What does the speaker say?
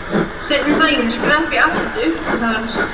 Seinna um daginn skrapp ég aftur upp til hans.